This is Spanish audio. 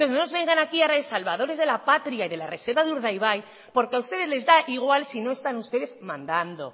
entonces no nos vengan aquí ahora de salvadores de la patria y de la reserva de urdaibai porque a ustedes les da igual si no están ustedes mandando